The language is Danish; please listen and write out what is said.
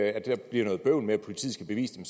at der bliver noget bøvl med at politiet skal bevise det